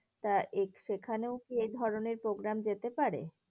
তা সেখানেও কি এই ধরণের programme যেতে পারে?